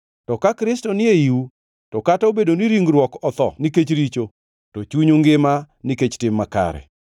To ka Kristo ni eiu, to kata obedo ni ringruok otho nikech richo, to chunyu ngima nikech tim makare.